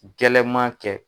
gɛlɛman kɛ